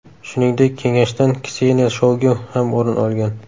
Shuningdek, kengashdan Kseniya Shoygu ham o‘rin olgan.